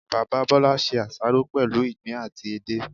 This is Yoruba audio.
Bàbá Bólá se àsáró pèlú ìgbín àti edé